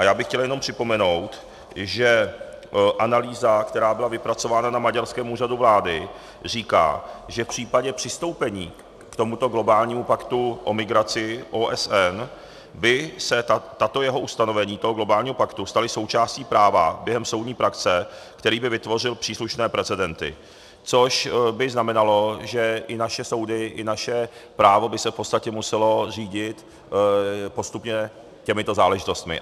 A já bych chtěl jenom připomenout, že analýza, která byla vypracována na maďarském úřadu vlády, říká, že v případě přistoupení k tomuto globálnímu paktu o migraci OSN by se tato jeho ustanovení, toho globálního paktu, stala součástí práva během soudní praxe, který by vytvořil příslušné precedenty, což by znamenalo, že i naše soudy i naše právo by se v podstatě muselo řídit postupně těmito záležitostmi.